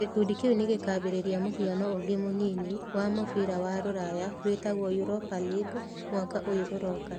Gĩkundi kĩu nĩ gĩkaambĩrĩria mũhiano ũngĩ mũnyinyi wa mabũrũri ma Rũraya, wĩtagwo Europa League, mwaka ũyũ ũroka.